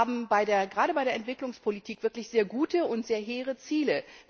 Wir haben gerade bei der Entwicklungspolitik wirklich sehr gute und sehr hehre Ziele.